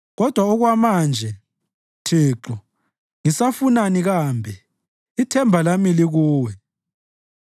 Kodwa okwamanje, Thixo, ngisafunani kambe? Ithemba lami likuwe.